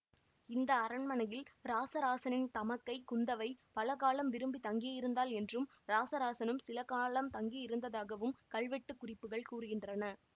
இந்த அரண்மனையில் இராசராசனின் தமக்கை குந்தவை பல காலம் விரும்பி தங்கியிருந்தாள் என்றும் இராசராசனும் சிலகாலம் தங்கியிருந்ததாகவும் கல்வெட்டுக் குறிப்புகள் கூறுகின்றன